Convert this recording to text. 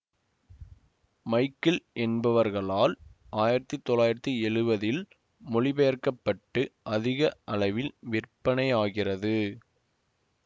Michael என்பவர்களால் ஆயிரத்தி தொள்ளாயிரத்தி எழுவதில் மொழிபெயர்க்கப்பட்டு அதிக அளவில் விற்பனையாகியது